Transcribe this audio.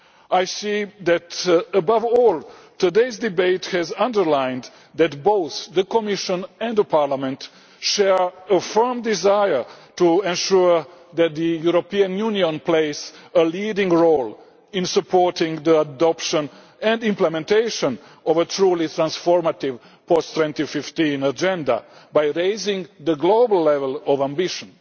I think that, above all, today's debate has underlined that both the Commission and Parliament share a firm desire to ensure that the European Union plays a leading role in supporting the adoption and implementation of a truly transformative post 2015 agenda, by raising the global level of ambition.